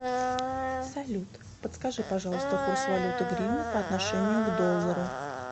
салют подскажи пожалуйста курс валюты гривны по отношению к доллару